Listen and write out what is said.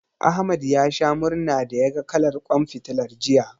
Ahmad ya sha murna da yaga kalar ƙwan fitilar, jiya.